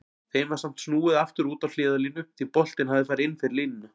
Þeim var samt snúið aftur út á hliðarlínu því boltinn hafði farið inn fyrir línuna.